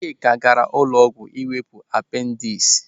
Chika gaara ụlọọgwụ iwepụ apendis.